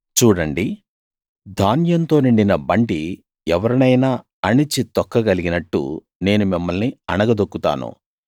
చూడండి ధాన్యంతో నిండిన బండి ఎవరినైనా అణిచి తొక్కగలిగినట్టు నేను మిమ్మల్ని అణగదొక్కుతాను